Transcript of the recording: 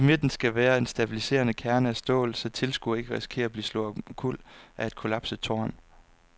I midten skal være en stabiliserende kerne af stål, så tilskuere ikke risikerer at blive slået omkuld af et kollapset tårn.